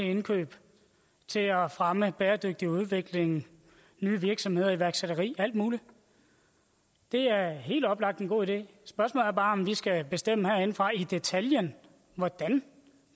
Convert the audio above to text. indkøb til at fremme bæredygtig udvikling nye virksomheder iværksætteri alt muligt det er helt oplagt en god idé spørgsmålet er bare om vi skal bestemme herindefra i detaljen hvordan